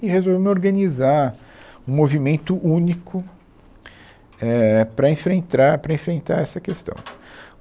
E resolvemos organizar um movimento único, é, para enfrentra, para enfrentar essa questão.